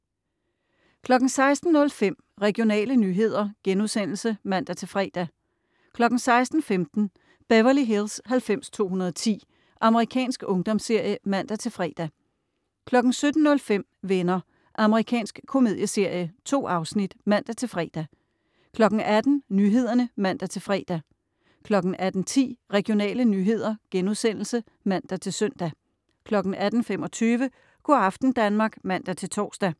16.05 Regionale nyheder* (man-fre) 16.15 Beverly Hills 90210. Amerikansk ungdomsserie (man-fre) 17.05 Venner. Amerikansk komedieserie. 2 afsnit (man-fre) 18.00 Nyhederne (man-fre) 18.10 Regionale nyheder* (man-søn) 18.25 Go' aften Danmark (man-tors)